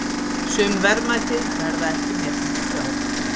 Sum verðmæti verða ekki metin til fjár.